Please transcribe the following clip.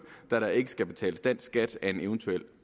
da der ikke skal betales dansk skat af en eventuel